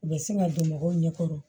U bɛ sin ka don mɔgɔw ɲɛ kɔrɔ